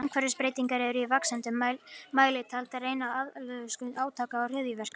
Umhverfisbreytingar eru í vaxandi mæli taldar ein af aðalorsökum átaka og hryðjuverka.